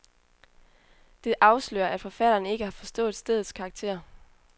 Det afslører, at forfatteren ikke har forstået stedets karakter.